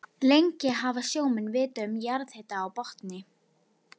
Lengi hafa sjómenn vitað um jarðhita á botni